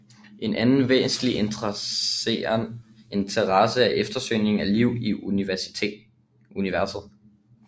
En anden væsentlig interesse er eftersøgningen af liv i universet